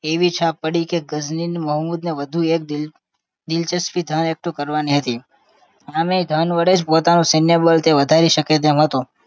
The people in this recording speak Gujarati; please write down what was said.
એવી છાપ પડી કે ગજની મોહમ્મદ દે વધુ એક દિલચસ્પી સયુક્ત કરવાની હતી એમે ધન વડે જ પોતાનું સૈન્ય બળ વધારી શકે તેમ હતું